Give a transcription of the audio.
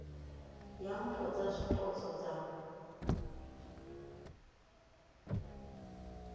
ya mpho dza zwipotso dza